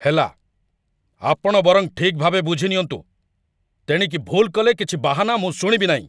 ହେଲା, ଆପଣ ବରଂ ଠିକ୍‌ଭାବେ ବୁଝିନିଅନ୍ତୁ। ତେଣିକି ଭୁଲ୍ କଲେ କିଛି ବାହାନା ମୁଁ ଶୁଣିବି ନାହିଁ।